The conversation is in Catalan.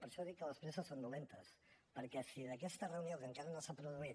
per això dic que les presses són dolentes perquè si d’aquesta reunió que encara no s’ha produït